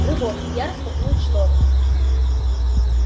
рывок я распахнул шторы